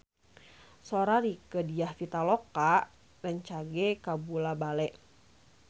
Sora Rieke Diah Pitaloka rancage kabula-bale